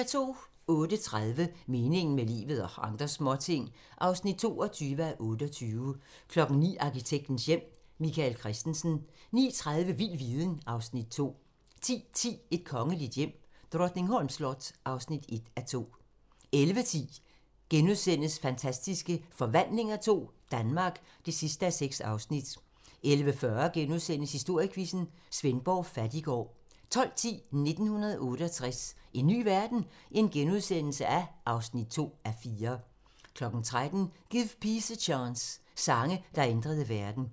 08:30: Meningen med livet - og andre småting (22:28) 09:00: Arkitektens hjem: Michael Christensen 09:30: Vild viden (Afs. 2) 10:10: Et kongeligt hjem: Drottningholms slot (1:2) 11:10: Fantastiske Forvandlinger II - Danmark (6:6)* 11:40: Historiequizzen: Svendborg Fattiggård * 12:10: 1968 - en ny verden? (2:4)* 13:00: Give Peace a Chance - Sange, der ændrede verden